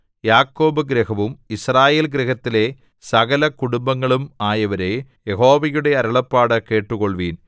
യാക്കോബ് ഗൃഹവും യിസ്രായേൽ ഗൃഹത്തിലെ സകല കുടുംബങ്ങളും ആയവരേ യഹോവയുടെ അരുളപ്പാട് കേട്ടുകൊള്ളുവിൻ